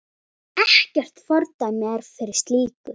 Ekkert fordæmi er fyrir slíku.